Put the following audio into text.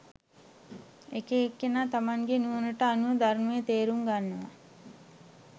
එක එක්කෙනා තමන්ගේ නුවණට අනුව ධර්මය තේරුම් ගන්නවා